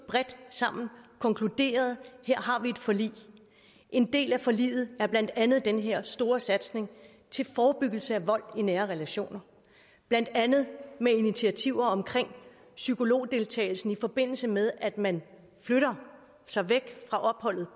sammen og konkluderede at her har vi et forlig en del af forliget er blandt andet den her store satsning til forebyggelse af vold i nære relationer blandt andet med initiativer omkring psykologdeltagelsen i forbindelse med at man flytter sig væk fra opholdet